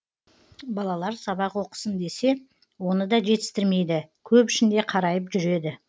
балалар сабақ оқысын десе оны да жетістірмейді көп ішінде қарайып жүреді